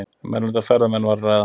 Um erlenda ferðamenn var að ræða